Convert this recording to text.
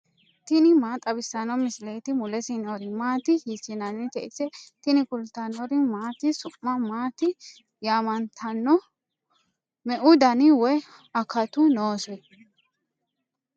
tini maa xawissanno misileeti ? mulese noori maati ? hiissinannite ise ? tini kultannori maati? su'ma maatti yaamanttanno? meu danni woy akattu noose?